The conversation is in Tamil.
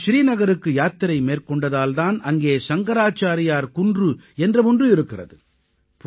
அவர் ஸ்ரீநகருக்கு யாத்திரை மேற்கொண்டதால் தான் அங்கே சங்கராச்சாரியார் குன்று என்ற ஒன்று இருக்கிறது